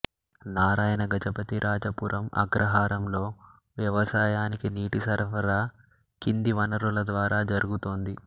నారాయణ గజపతిరాజపురం అగ్రహారంలో వ్యవసాయానికి నీటి సరఫరా కింది వనరుల ద్వారా జరుగుతోంది